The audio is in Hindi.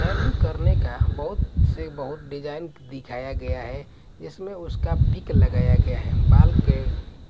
करने का बहुत से बहुत डिजाइन दिखाया गया है इसमें उसका पिक लगाया गया है बाल के